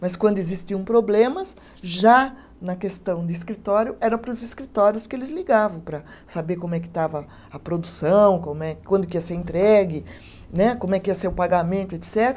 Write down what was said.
Mas quando existiam problemas, já na questão de escritório, era para os escritórios que eles ligavam para saber como é que estava a produção, como é, quando que ia ser entregue né, como é que ia ser o pagamento, etcetera